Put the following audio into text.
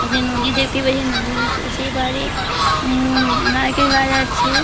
এবং নদী দেখতে পাচ্ছি নদীর ওপর সেই বাড়ি উম নারকেল গাছ আছে।